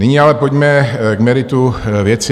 Nyní ale pojďme k meritu věci.